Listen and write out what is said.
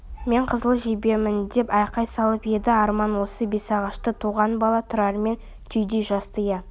мен қызыл жебемін деп айқай салып еді арман осы бесағашта туған бала тұрармен түйдей жасты иә